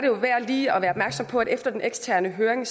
jo værd lige at være opmærksom på at efter den eksterne høring